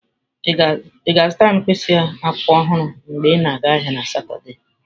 Ị ga-azụtara m mkpịsị akwụkwọ ọhụrụ mgbe ị na-aga ahịa na Satọde?